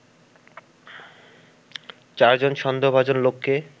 চারজন সন্দেহভাজন লোককে